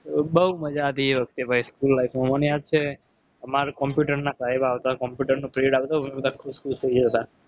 બૌ મજા આવતી એ વખતે ભાઈ school life માં મને યાદ છે. અમાર computer ના સાહેબ આવતા computer નો period આવતો. અમે બધા ખુસ ખુસ થઇ જતા.